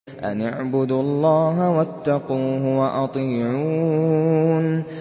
أَنِ اعْبُدُوا اللَّهَ وَاتَّقُوهُ وَأَطِيعُونِ